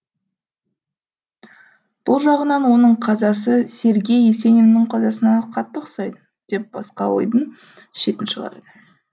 бұл жағынан оның қазасы сергей есениннің қазасына қатты ұқсайды деп басқа ойдың шетін шығарады